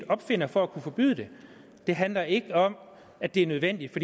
opfinder for at kunne forbyde det det handler ikke om at det er nødvendigt